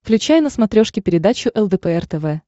включай на смотрешке передачу лдпр тв